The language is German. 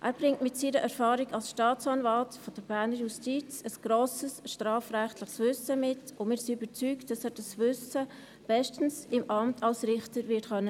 Er bringt mit seiner Erfahrung als Staatsanwalt der bernischen Justiz ein grosses strafrechtliches Wissen mit, und wir sind überzeugt, dass er dieses Wissen im Amt als Richter bestens wird einsetzen können.